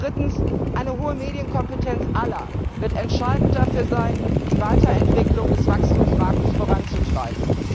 Drittens Eine hohe Medienkompetenz aller wird entscheidend dafür sein, die Weiterentwicklung des Wachstumsmarkts voranzutreiben.